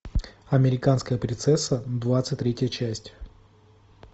американская принцесса двадцать третья часть